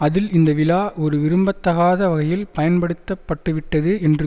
அதில் இந்த விழா ஒரு விரும்பத்தகாத வகையில் பயன்படுத்தப்பட்டுவிட்டது என்று